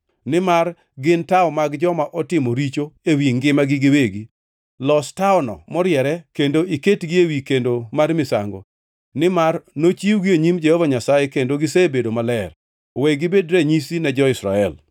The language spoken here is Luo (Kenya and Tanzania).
nimar gin tawo mag joma otimo richo ewi ngimagi giwegi. Los tawono moriere kendo iketgi ewi kendo mar misango, nimar nochiwgi e nyim Jehova Nyasaye kendo gisebedo maler. We gibed ranyisi ne jo-Israel.”